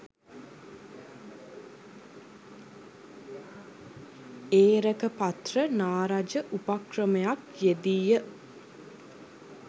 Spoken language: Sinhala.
ඒරකපත්‍ර නා රජ උපක්‍රමයක් යෙදී ය.